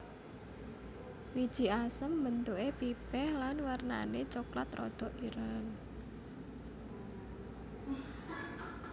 Wiji asem bentuké pipih lan wernané coklat rada ireng